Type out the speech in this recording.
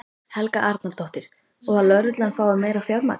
Helga Arnardóttir: Og að lögreglan fái meira fjármagn?